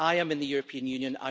I am in the European Union.